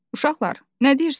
"Uşaqlar, nə deyirsiz?"